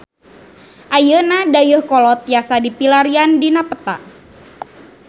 Ayeuna Dayeuhkolot tiasa dipilarian dina peta